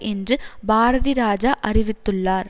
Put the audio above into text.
என்று பாரதிராஜா அறிவித்துள்ளார்